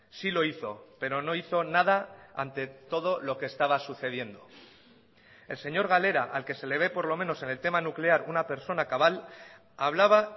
sí lo hizo pero no hizo nada ante todo lo que estaba sucediendo el señor galera al que se le ve por lo menos en el tema nuclear una persona cabal hablaba